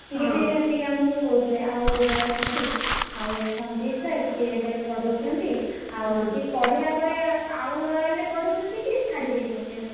ସିଏ ବି ଆସିକି ଆମୁକୁ କହୁଥିଲେ ଆଉ royal ଆଉ ସଂଜିତ୍ sir ସିଏ ଏବେ ପଢଉଛନ୍ତି। ଆଉ ସିଏ ପଢ଼େଇଲା ପରେ ଆ ଆଉ royal ରେ ପଢଉଛନ୍ତି କି ଛାଡିଦେଇଛନ୍ତି ଏବେ?